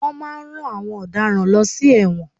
Wọ́n máà ń rán àwọn ọ̀daràn lọ sí ẹ̀wọ̀n.